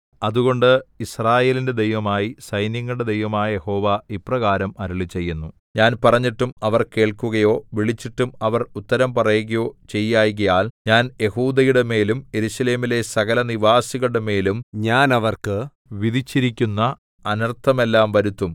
അതുകൊണ്ട് യിസ്രായേലിന്റെ ദൈവമായി സൈന്യങ്ങളുടെ ദൈവമായ യഹോവ ഇപ്രകാരം അരുളിച്ചെയ്യുന്നു ഞാൻ പറഞ്ഞിട്ടും അവർ കേൾക്കുകയോ വിളിച്ചിട്ടും അവർ ഉത്തരം പറയുകയോ ചെയ്യായ്കയാൽ ഞാൻ യെഹൂദയുടെമേലും യെരൂശലേമിലെ സകലനിവാസികളുടെ മേലും ഞാൻ അവർക്ക് വിധിച്ചിരിക്കുന്ന അനർത്ഥമെല്ലാം വരുത്തും